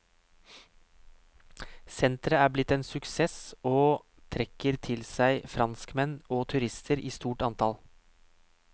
Senteret er blitt en suksess og trekker til seg franskmenn og turister i stort antall.